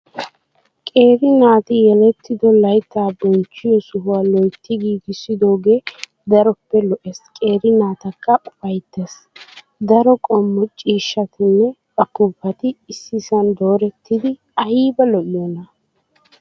Qeeri naati yelettido layittaa bonchchiyo sohaa loyitti giigissidoogee daroppe lo''ees qeeri naatakka upayittes. Daro qommo ciishshatinne upuuppati issisan doorettidi ayiba lo'iyoona.